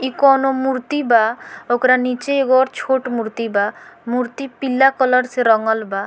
इ कोनो मूर्ति बा ओकरा नीचे एगो और छोट मूर्ति बा मूर्ति पीला कलर से रंगल बा।